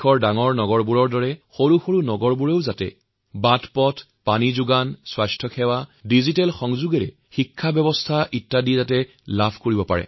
কেৱল ডাঙৰ চহৰ নহয় আজি দেশৰ সৰু সৰু চহৰতো সকলো ধৰণৰ আধুনিক সুযোগসুবিধাৰ যেনে মসৃণ ৰাস্তাঘাট ৰাজপথৰ পৰা পৰিষ্কাৰ খোৱা পানী স্বাস্থ্য আৰু শিক্ষাৰ পৰা ডিজিটেল সংযোগ ইত্যাদি উপলব্ধ হৈছে